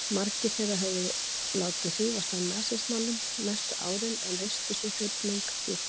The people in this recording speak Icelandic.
Margir þeirra höfðu látið hrífast af nasismanum næstu árin, en risti sú hrifning djúpt?